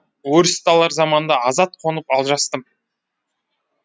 өрісті алар заманда азат қонып алжастым